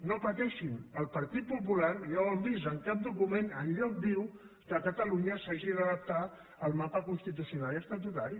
no pateixin el partit popular ja ho han vist en cap document enlloc diu que catalunya s’hagi d’adaptar al mapa constitucional i estatutari